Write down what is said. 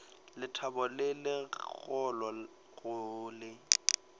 lethabo le legolo go le